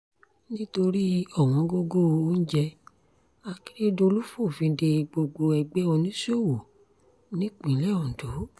nítorí ọ̀wọ́ngógó oúnjẹ akérèdọ́lù fòfin dé gbogbo ẹgbẹ́ oníṣòwò nípìnlẹ̀ ondo